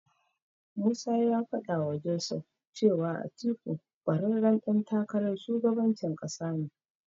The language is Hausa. Musa ya faɗawa Joseph cewa Atiku ƙwararren ɗan takarar shugabancin ƙasa ne.